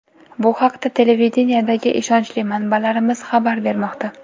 Bu haqda televideniyedagi ishonchli manbalarimiz xabar bermoqda.